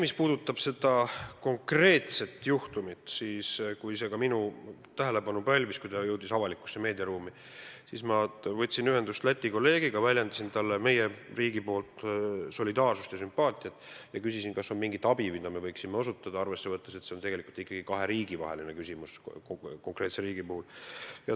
Mis puudutab seda konkreetset juhtumit, siis kohe, kui see minu tähelepanu pälvis, kui see jõudis avalikku meediaruumi, ma võtsin ühendust Läti kolleegiga, väljendasin talle meie riigi nimel solidaarsust ja sümpaatiat ning küsisin, kas meil on võimalik mingit abi osutada, arvesse võttes, et see on tegelikult ikkagi kahe riigi vaheline küsimus.